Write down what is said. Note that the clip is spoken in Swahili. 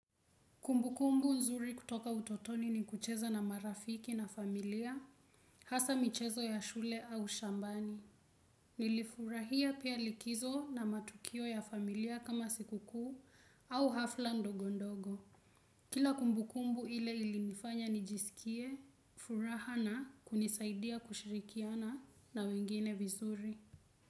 Kumbukumbu nzuri kutoka utotoni ni kucheza na marafiki na familia, hasaa michezo ya shule au shambani. Nilifurahia pia likizo na matukio ya familia kama sikukuu au hafla ndogondogo. Kila kumbukumbu ile ilinifanya nijisikie, furaha na kunisaidia kushirikiana na wengine vizuri.